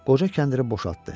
Qoca kəndiri boşaltdı.